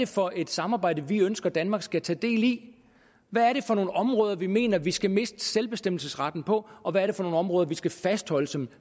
for et samarbejde vi ønsker danmark skal tage del i hvad er det for nogle områder vi mener vi skal miste selvbestemmelsesretten på og hvad er det for nogle områder vi skal fastholde som